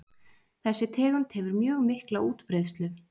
Þessi tegund hefur mjög mikla útbreiðslu.